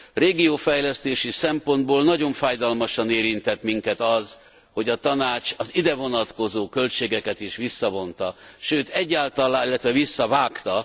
Régiófejlesztési szempontból nagyon fájdalmasan érintett minket az, hogy a Tanács az idevonatkozó költségeket is visszavonta, illetve visszavágta.